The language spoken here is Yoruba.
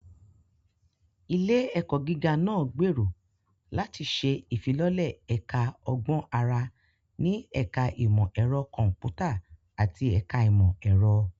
Ilé-ẹ̀kọ́ gíga náà gbèrò láti ṣe ìfilọ́lẹ̀ Ẹ̀ka Ọgbọ́n Àrà ní Ẹ̀ka Ìmọ̀ Ẹ̀rọ Kọ̀m̀pútà àti Ẹ̀ka Ìmọ̀ Ẹ̀rọ.